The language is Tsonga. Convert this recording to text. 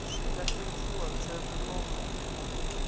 swi nga endliwa ntsena loko